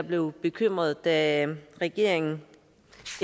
blev bekymrede da regeringen